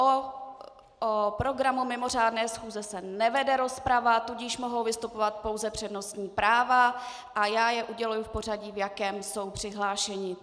O programu mimořádné schůze se nevede rozprava, tudíž mohou vystupovat pouze přednostní práva a já je uděluji v pořadí, v jakém jsou přihlášeni.